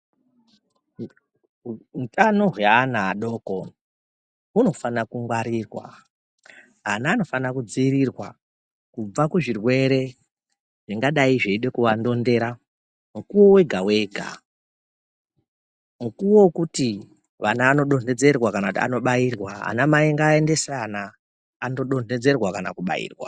Utano hwaana adoko hunofanira kungwarirwa ana anofanira kudziirirwa kubva kuzvirwere zvingadai zveide kuvandondera mukuwo wega wega mukuwo wokuti vana vanodonhedzerwa kana kuti anobairwa vana mai ngavaendese vana vanodonhedzerwa kana kubairwa.